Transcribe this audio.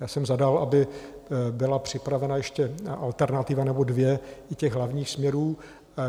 Já jsem zadal, aby byla připravena ještě alternativa nebo dvě i těch Hlavních směrů.